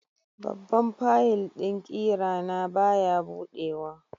Babban fayil ɗin ƙira na baya buɗewa.